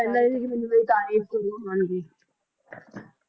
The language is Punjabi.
ਕਹਿੰਦਾ ਸੀ ਕਿ ਮੈਨੂੰ ਮੇਰੀ ਤਾਰੀਫ